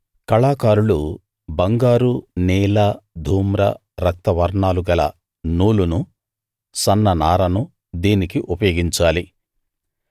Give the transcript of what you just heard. కళాకారులు బంగారు నీల ధూమ్ర రక్త వర్ణాలు గల నూలును సన్ననారను దీనికి ఉపయోగించాలి